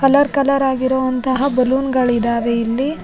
colour colour ಆಗಿರೊವಂತಹ balloon ಗಳಿದಾವೆ ಇಲ್ಲಿ --